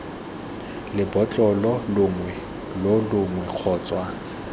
lebotlolo longwe lo longwe kgotsa